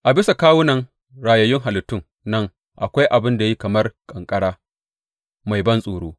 A bisa kawunan rayayyun halittun nan akwai abin da ya yi kamar ƙanƙara, mai bantsoro.